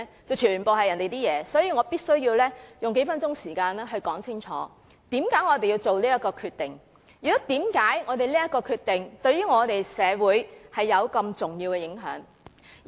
因此，我必須用數分數時間解釋清楚我們這決定，以及為甚麼我們的決定對社會有重要的影響。